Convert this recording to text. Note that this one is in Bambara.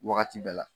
Wagati bɛɛ la